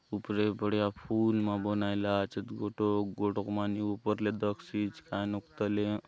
उपरे बढ़िया फुल मा बनाएला आचेत गोटोक - गोटोक माने ऊपर ले दखसि आचे कायनुक तले --